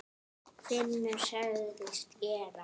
Finnur sagðist gera það.